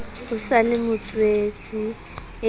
o sa le motswetse e